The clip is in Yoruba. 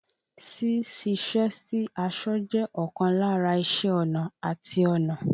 Sí ṣiṣẹ́ sí aṣọ jẹ́ ọkan lára iṣé ọnà àti ọnà.